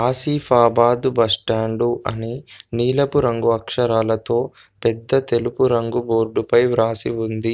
Asifabad bus stand అని నీలపు రంగు అక్షరాలతో పెద్ద తెలుపు రంగు బోర్డు పై వ్రాసి ఉంది.